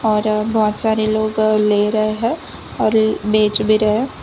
और बहुत सारे लोग ले रहे हैं और बेच भी रहे हैं।